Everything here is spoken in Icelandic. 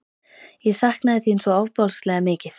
Ég saknaði þín svo ofboðslega mikið.